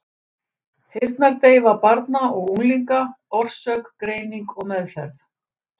Heyrnardeyfa barna og unglinga, orsök, greining og meðferð.